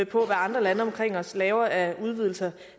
på hvad andre lande omkring os laver af udvidelser